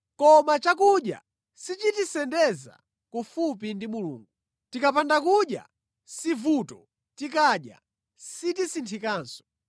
Koma chakudya sichitisendeza kufupi ndi Mulungu. Tikapanda kudya si vuto, tikadya sitisinthikanso.